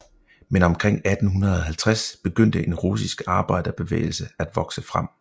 Men omkring 1850 begyndte en russisk arbejderbevægelse at vokse frem